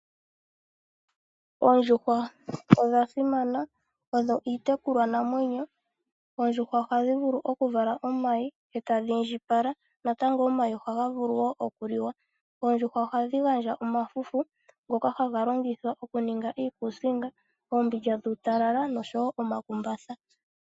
Oondjuhwa odha simana. Odho iitekulwanamwenyo. Oondjuhwa ohadhi vulu okuvala omayi e tadhi indjipala. Omayi ohaga vulu wo okuliwa. Oondjuhw aohadhi gandja omafufu ngoka haga longithwa okuninga iikuusinga, oombindja dhuutalala noshowo omakumbatha.